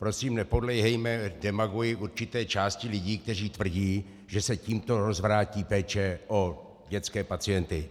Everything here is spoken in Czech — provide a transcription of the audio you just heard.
Prosím, nepodléhejme demagogii určité části lidí, kteří tvrdí, že se tímto rozvrátí péče o dětské pacienty.